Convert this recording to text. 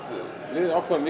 við ákváðum